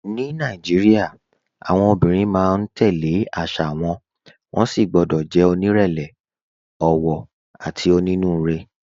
Ní Nàìjíríà, àwọn obìnrin máa ń tẹ̀ lé àṣà wọn, wọ́n sì gbọ́dọ̀ jẹ́ onírẹ̀lẹ̀, ọ̀wọ̀, àti onínúure.